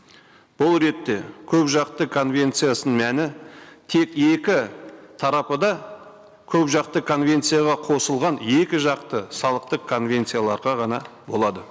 бұл ретте көпжақты конвенциясының мәні тек екі тарапы да көпжақты конвенцияға қосылған екіжақты салықтық конвенцияларға ғана болады